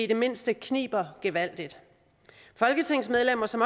det mindste kniber gevaldigt folketingsmedlemmer som